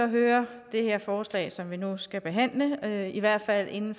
hører det her forslag som vi nu skal behandle i hvert fald inden